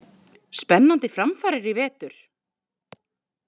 Spennandi framfarir í vetur!!